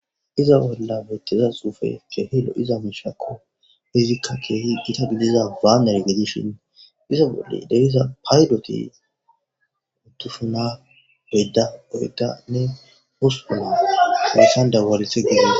iza bolla bettiza xuufe keehilo iza miishakko hizikka keehi ita gidiza waa nergedishin iza bolle deriza paydoti uttufuna beydda oreda ne husupuna taressan dawalithe giddo